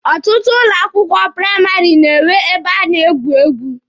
Ọtụtụ ụlọ akwụkwọ praịmarị na-enwekwa ebe a na-egwu egwu.